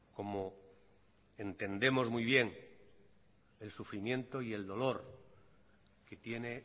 como entendemos muy bien el sufrimiento y el dolor que tiene